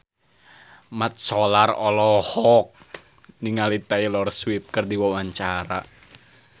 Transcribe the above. Mat Solar olohok ningali Taylor Swift keur diwawancara